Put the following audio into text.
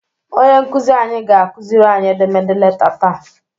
Onye nkuzi anyị ga-akuziri anyị edemede leta taa.